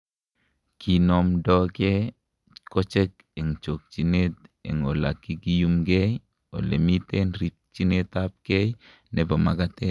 kinomndoke kochek en chokyinet en olekakiyumenkei ole mitei rikyinetabkei nebo makatet